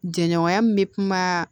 Jɛɲɔgɔnya min bɛ kuma